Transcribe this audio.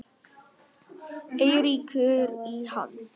Eiríkur í hann.